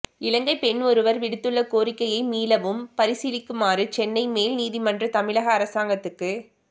இலங்கைப் பெண் ஒருவர் விடுத்துள்ள கோரிக்கையை மீளவும் பரிசிலீக்குமாறு சென்னை மேல் நீதிமன்றம் தமிழக அரசாங்கத்துக்கு